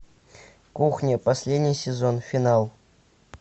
кухня последний сезон финал